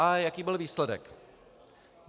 A jaký byl výsledek?